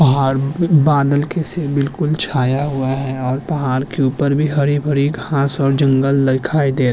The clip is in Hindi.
पहाड़ बादल बिलकुल छाया हुआ है और पहाड़ के उपर भी हरी-भरी घास और जंगल लइखाई दे --